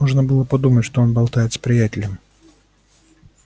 можно было подумать что он болтает с приятелем